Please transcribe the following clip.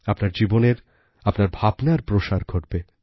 আপনার জীবনের আপনার ভাবনারপ্রসার ঘটবে